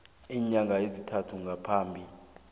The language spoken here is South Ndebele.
iinyanga ezintathu ngaphambi